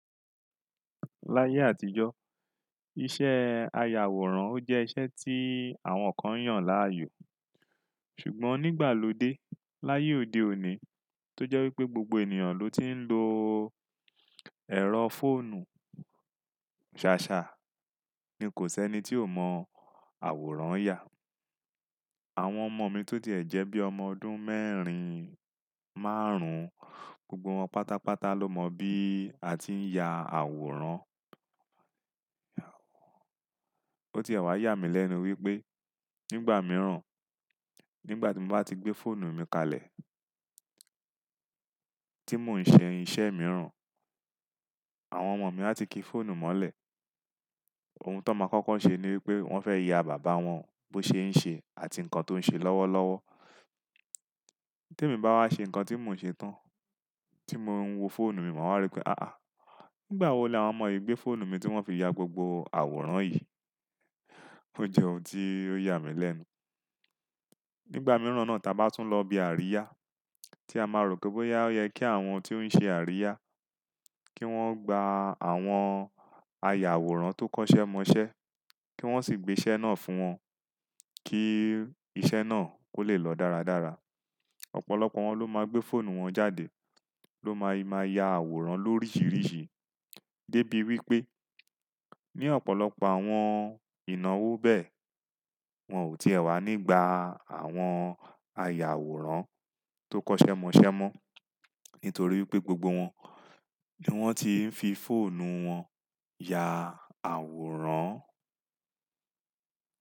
Láyé àtijọ́, iṣẹ́ aya àwòrán ó jẹ́ iṣẹ́ tí àwọn kan yàn láàyò. Ṣùgbọ́n nígbà lóde, láyé òde òní tó jẹ́ wípé gbogbo ènìyàn ló ti ń lo ẹ̀rọ fóònù ṣàṣà, ni kò sí ẹni tí ò mọ àwòrán ya. Àwọn ọmọ mi tó ti ẹ̀ jẹ́ bí ọmọ ọdún mẹ́rin, márùn-ún, gbogbo wọn pátápátá ló mọ bí a ti ń ya àwòrán. Ó ti ẹ̀wà yà mí lẹ́nu wípé nígbà mìíràn, nígbà tí mo bá ti gbé fóònù mi kalẹ̀, tí mò ń ṣe iṣẹ́ mìíràn, àwọn ọmọ mi á ti ki fóònù mọ́lẹ̀. Ohun tó máa kọ́kọ́ ṣe ní wípé wọ́n fẹ́ ya bàbá wọn bó ṣe ń ṣe àti nǹkan tó ń ṣe lọ́wọ́lọ́wọ́. Tí èmi bá wá ṣe nǹkan tí mò ń ṣe tán, tí mò ń wo fóònù mi, màá rí pé "àá nígbà wo ni àwọn ọmọ yìí gbé fóònù mi tí wọ́n fi ya gbogbo àwòrán yìí?" Ó jẹ́ ohun tí ó yà mí lẹ́nu. Nígbà mìíràn náà tí a bá tún lọ ibi àríyá tí a máa ròkè pé ó yẹ kí àwọn tí ó ń ṣe àríyá kí wọ́n gba àwọn aya àwòrán tó kọ́ṣẹ́ mọṣẹ́ kí wọ́n sì gbé iṣẹ́ náà fún wọn kí iṣẹ́ náà ó le lọ dáradára. Ọ̀pọ̀lọpọ̀ wọn ló máa gbé fóònù wọn jáde ló máa yima ya àwòrán lórísìírísìí dé bí wípé ní ọ̀pọ̀lọpọ̀ àwọn ìnáwó bẹ́ẹ̀, wọn ò ti èwà nígbà àwọn aya àwòrán tó kọ́ṣẹ́ mọṣẹ́ mọ́ nítorí pé gbogbo wọn ni wọ́n ti ń fi fóònù wọn ya àwòrán.